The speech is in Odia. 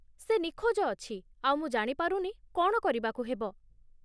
ସେ ନିଖୋଜ ଅଛି, ଆଉ ମୁଁ ଜାଣି ପାରୁନି କ'ଣ କରିବାକୁ ହେବ ।